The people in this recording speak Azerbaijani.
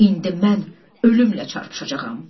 İndi mən ölümlə çarpışacağam.